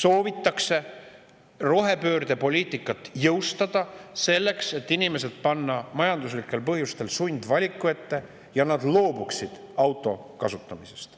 soovitakse rohepöördepoliitikat jõustada, panna inimesed majanduslikel põhjustel sundvaliku ette, nii et nad loobuksid auto kasutamisest.